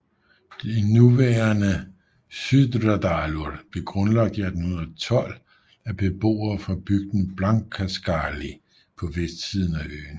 Det nuværende Syðradalur blev grundlagt i 1812 af beboere fra bygden Blankaskáli på vestsiden af øen